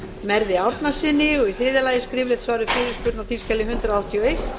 merði árnasyni þriðja skriflegt svar við fyrirspurn á þingskjali hundrað áttatíu og eitt